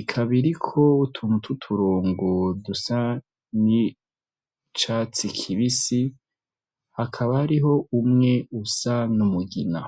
ikaba iriko utuntu tw'uturongo dusa n'icatsi kibisi hakaba hariho umwe usa n'umugina.